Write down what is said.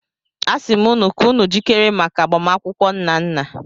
Asim unu ka unu jikere maka agbamakwụkwọ Nnanna.